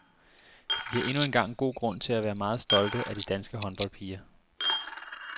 Vi har endnu en gang god grund til at være meget stolte af de danske håndboldpiger.